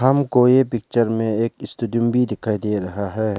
हमको ये पिक्चर में एक स्टेडियम भी दिखाई दे रहा है।